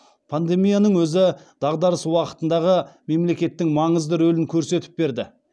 пандемияның өзі дағдарыс уақытындағы мемлекеттің маңызды рөлін көрсетіп берді